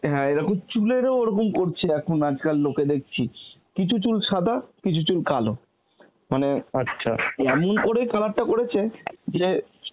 হ্যাঁ এরকম চুলেরও ওরকম করছে এখন আজকাল লোকেদের দেখছি কিছু চুল সাদা, চুল কালো মানে এমন করেই color টা করেছে যে